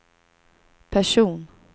person